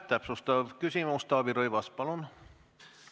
Täpsustav küsimus, Taavi Rõivas, palun!